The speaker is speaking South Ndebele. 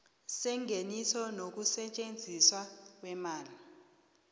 sengeniso nokusetjenziswa kweemali